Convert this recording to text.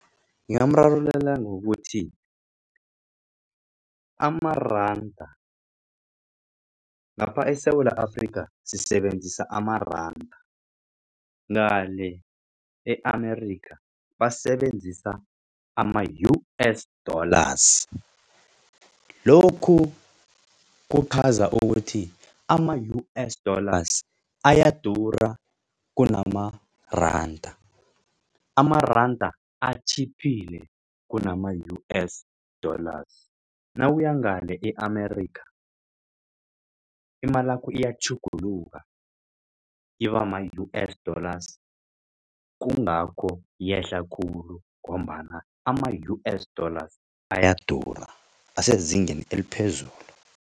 Ngingamrarululela ngokuthi amaranda ngapha eSewula Afrika sisebenzisa amaranda ngale e-Amerika basebenzisa ama-U_S dollars. Lokhu kuchaza ukuthi ama-U_S dollars ayadura kunamaranda. Amaranda atjhiphile kunama U_S dollars nawuyangale e-Amerika imalakho iyatjhuguluka ibama-U_S dollars kungakho yehla khulu ngombana ama-U_S dollars ayadura asezingeni eliphezulu.